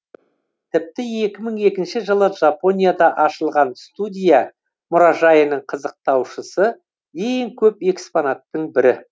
тіпті екі мың екінші жылы жапонияда ашылған студия мұражайының қызықтаушысы ең көп экспонаттың бірі